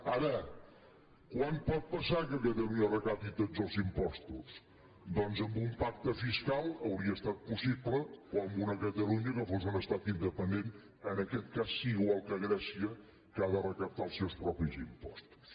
ara quan pot passar que catalunya recapti tots els impostos doncs amb un pacte fiscal hauria estat possible o amb una catalunya que fos un estat independent en aquest cas sí igual que grècia que ha de recaptar els seus propis impostos